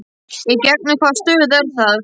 Í gegnum hvaða stöð er það?